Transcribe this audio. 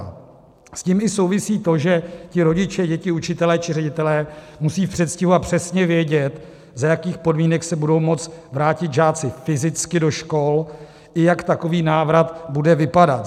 S tím souvisí i to, že ti rodiče, děti, učitelé či ředitelé musí v předstihu a přesně vědět, za jakých podmínek se budou moci vrátit žáci fyzicky do škol i jak takový návrat bude vypadat.